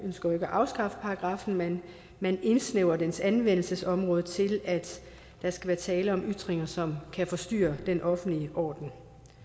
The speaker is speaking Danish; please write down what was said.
ønsker at afskaffe paragraffen men man indsnævrer dens anvendelsesområde til at der skal være tale om ytringer som kan forstyrre den offentlige orden